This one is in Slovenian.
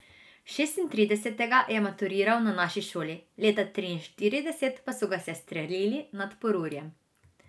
Šestintridesetega je maturiral na naši šoli, leta triinštirideset pa so ga sestrelili nad Porurjem.